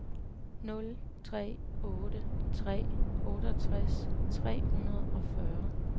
nul tre otte tre otteogtres tre hundrede og fyrre